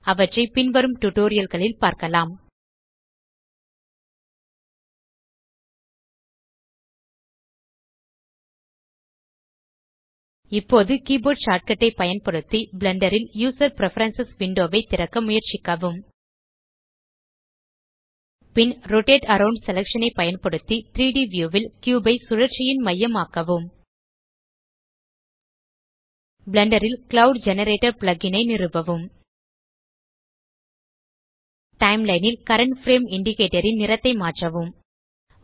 அவற்றை பின்வரும் டியூட்டோரியல் களில் பார்க்கலாம் இப்போது கீபோர்ட் ஷார்ட்கட் ஐ பயன்படுத்தி பிளெண்டர் ல் யூசர் பிரெஃபரன்ஸ் விண்டோ ஐ திறக்க முயற்சிக்கவும் பின் ரோட்டேட் அரவுண்ட் செலக்ஷன் ஐ பயன்படுத்தி 3ட் வியூ ல் கியூப் ஐ சுழற்சியின் மையம் ஆக்கவும் பிளெண்டர் ல் க்ளவுட் ஜெனரேட்டர் plug இன் ஐ நிறுவவும் டைம்லைன் ல் கரண்ட் பிரேம் இண்டிகேட்டர் ன் நிறத்தை மாற்றவும்